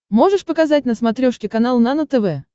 можешь показать на смотрешке канал нано тв